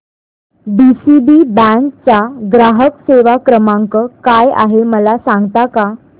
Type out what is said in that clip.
DCB bank चा ग्राहक सेवा क्रमांक काय आहे मला सांगता का